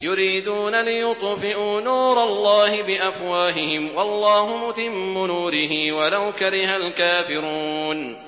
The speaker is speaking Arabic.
يُرِيدُونَ لِيُطْفِئُوا نُورَ اللَّهِ بِأَفْوَاهِهِمْ وَاللَّهُ مُتِمُّ نُورِهِ وَلَوْ كَرِهَ الْكَافِرُونَ